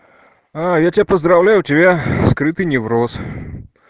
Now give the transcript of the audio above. а я тебя поздравляю у тебя скрытый невроз